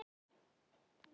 Hann óskar sér.